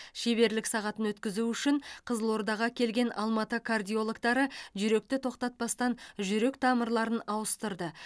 шеберлік сағатын өткізу үшін қызылордаға келген алматы кардиологтары жүректі тоқтатпастан жүрек тамырларын ауыстырды